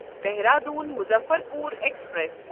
Dehradun Muzaffarpur express